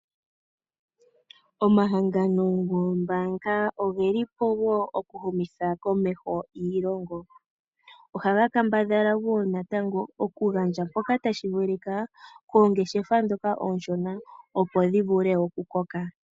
Omahangano goombaanga ogeli po wo oku humitha komeho iilongo. Ohaga kambadhala wo natango oku gandja mpoka tashi vulika koongeshefa ndhoka oonshona opo dhi vule oku koka.